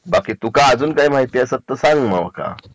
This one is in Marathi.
बाकी तू का अजूक काही माहिती असत तर सांग माका